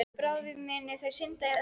Bráðum munu þau synda í öðru herbergi.